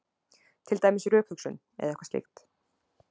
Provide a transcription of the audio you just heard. Til dæmis rökhugsun eða eitthvað slíkt.